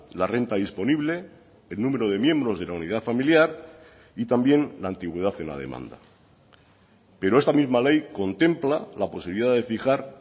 la renta disponible el número de miembros de la unidad familiar y también la antigüedad en la demanda pero esta misma ley contempla la posibilidad de fijar